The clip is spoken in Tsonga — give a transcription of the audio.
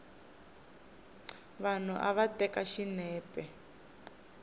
vanhu va teka xinepe